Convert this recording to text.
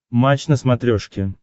матч на смотрешке